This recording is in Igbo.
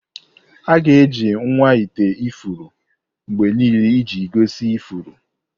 Aga-eji nwa ite ifuru mgbe niile iji gosi ifuru.